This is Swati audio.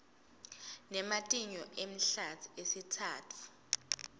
nematinyo emahlatsi esitsatfu